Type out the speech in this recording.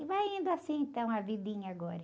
E vai indo assim, então, a vidinha agora.